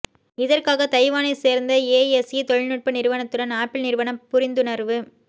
இதற்காக தைவானை சேர்ந்த ஏஎஸ்இ தொழில்நுட்ப நிறுவனத்துடன் ஆப்பிள் நிறுவனம் புரிந்துணர்வு